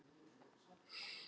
Þetta eru allt ungir menn.